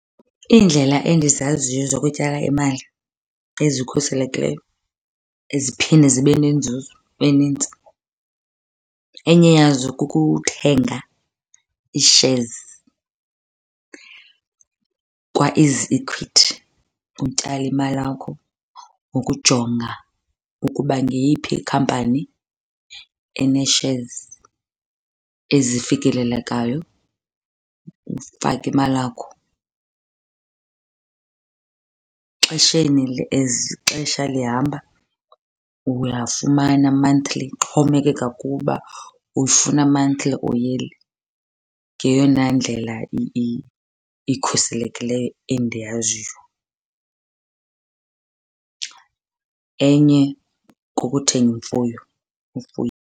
Iindlela endizaziyo zokutyala imali ezikhuselekileyo eziphinde zibe nenzuzo enintsi, enye yazo kukuthenga ii-shares kwaEasyEquities utyale imali yakho ngokujonga ukuba ngeyiphi ikhampani enee-shares ezifikelelekayo ufake imali yakho. Exesheni , as ixesha lihamba uyafumana monthly, ixhomekeka kuwe uba uyifuna monthly or yearly. Ngeyona ndlela ikhuselekileyo endiyaziyo. Enye kukuthenga imfuyo ufuye.